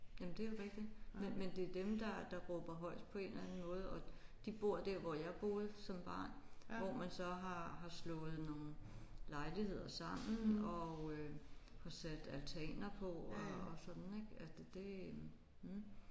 Jamen det er jo rigtigt men men det er dem der der råber højest på en eller anden måde og de bor der hvor jeg boede som barn hvor man så har har slået nogle lejligheder sammen og øh har sat altaner på og sådan ik det mh